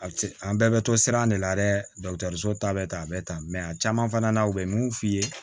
A bɛ an bɛɛ bɛ to siran de la dɛ so ta bɛ ta a bɛ ta a caman fana na u bɛ mun f'i ye